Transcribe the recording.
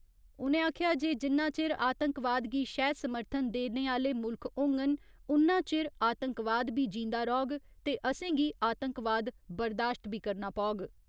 उ'नें आखेआ जे जिन्ना चिर आतंकवाद गी शैह् समर्थन देने आह्‌ले मुल्ख होङन, उन्ना चिर आतंकवाद बी जींदा रौह्ग ते असेंगी आतंकवाद बर्दाश्त बी करना पौग।